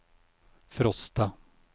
Frosta